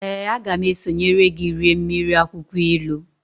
Ee, a ga m esonyere gi rie mmiri akwukwo ilu